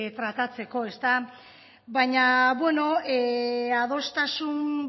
tratatzeko baina adostasun